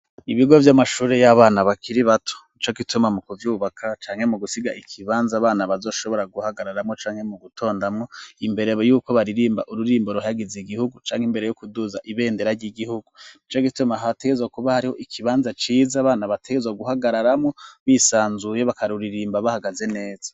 Ibigo vy'amashuri y'abana bakiri bato ni co gituma mu kuvyubaka canke mu gusiga ikibanza abana bazoshobora guhagararamwo canke mu gutondamwo imbere yuko baririmba ururimbo ruhagize igihugu canke imbere yo kuduza ibendera ry'igihugu ni co gituma hategezwa kuba hariho ikibanza ciza bana bategezwa guhagararamwo bisanzuye bakaruririmba bahagazene.